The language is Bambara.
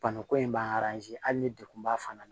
Bana ko in b'an hali ni degun b'a fana na